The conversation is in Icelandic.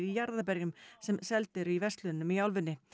jarðarberjum sem seld eru í verslunum í álfunni